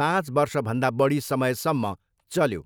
पाँच वर्षभन्दा बढी समयसम्म चल्यो।